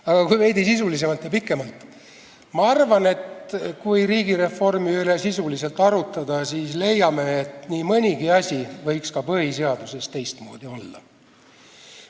Aga kui veidi sisulisemalt ja pikemalt vastata, siis ma arvan, et kui riigireformi üle sisuliselt arutleda, siis selgub, et nii mõnigi asi võiks ka põhiseaduses teistmoodi olla.